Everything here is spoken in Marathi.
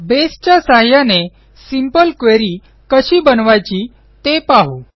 बेसच्या सहाय्याने सिंपल क्वेरी कशी बनवायची ते पाहू